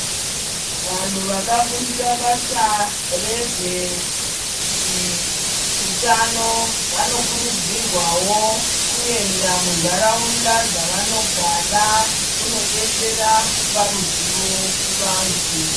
Vantu vakafundira basa rezveutano vanokurudzirwawo kuenda muntaraunda dzavanogara kunodetsera kupa ruzivo vantu.